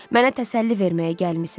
Mənə təsəlli verməyə gəlmisiz.